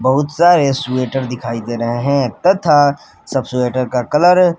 बहुत सारे स्वेटर दिखाई दे रहे हैं तथा सब स्वेटर का कलर --